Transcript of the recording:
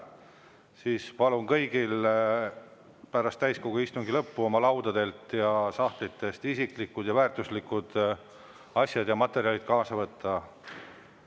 Siis palun kõigil pärast täiskogu istungi lõppu oma laudadelt ja sahtlitest isiklikud ja väärtuslikud asjad ja materjalid kaasa võtta.